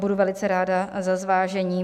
Budu velice ráda za zvážení.